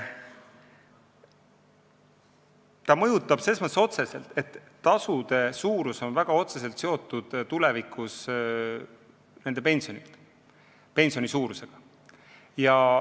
See mõjutab selles mõttes otseselt, et tasude suurus on väga otseselt seotud pensioni suurusega tulevikus.